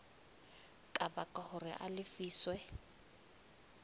ka baka hore a lefiswe